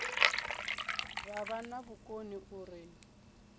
vha vha na vhukoni uri